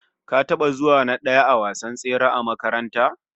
Ka taba zuwa na daya a gasar tsere a makaranta?